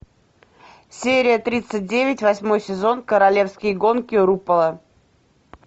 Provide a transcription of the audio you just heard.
серия тридцать девять восьмой сезон королевские гонки рупола